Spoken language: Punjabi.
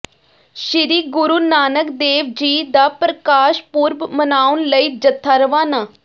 ਸ੍ਰੀ ਗੁਰੂ ਨਾਨਕ ਦੇਵ ਜੀ ਦਾ ਪ੍ਰਕਾਸ਼ ਪੁਰਬ ਮਨਾਉਣ ਲਈ ਜਥਾ ਰਵਾਨਾ